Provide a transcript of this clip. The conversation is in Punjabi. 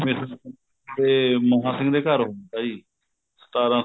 ਇਹ ਮਹਾਂ ਸਿੰਘ ਦੇ ਘਰ ਹੁੰਦਾ ਜੀ ਸਤਾਰਾਂ